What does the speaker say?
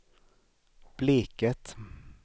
Bleket